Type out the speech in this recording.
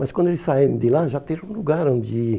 Mas quando eles saírem de lá, já ter um lugar onde ir.